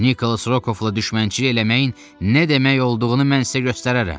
Nikolas Rokovla düşmənçilik eləməyin nə demək olduğunu mən sizə göstərərəm.